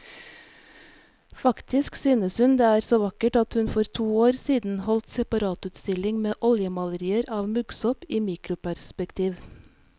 Faktisk synes hun det er så vakkert at hun for to år siden holdt separatutstilling med oljemalerier av muggsopp i mikroperspektiv.